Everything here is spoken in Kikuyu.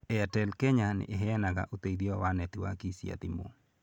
Airtel Kenya nĩ ĩheanaga ũteithio wa netiwaki cia thimũ.